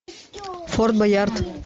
форт боярд